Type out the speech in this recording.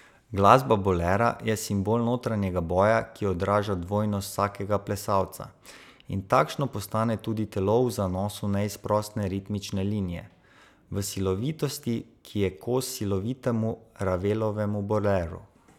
Glasba Bolera je simbol notranjega boja, ki odraža dvojnost vsakega plesalca, in takšno postane tudi telo v zanosu neizprosne ritmične linije, v silovitosti, ki je kos silovitemu Ravelovem Boleru.